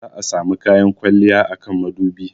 Za'a samu kayan kwalliya a kan madubi.